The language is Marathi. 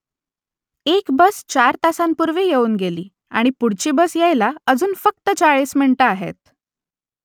एक बस चार तासांपूर्वी येऊन गेली आणि पुढची बस यायला अजून फक्त चाळीस मिनिटं आहेत